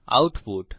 output